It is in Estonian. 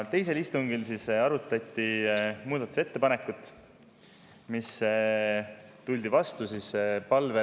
Teisel istungil arutati muudatusettepanekut ja tuldi palvele sisuliselt vastu.